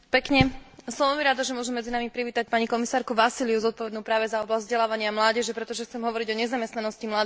Som veľmi rada, že môžem medzi nami privítať pani komisárku Vassiliou zodpovednú práve za oblasť vzdelávania a mládeže, pretože chcem hovoriť o nezamestnanosti mladých ľudí.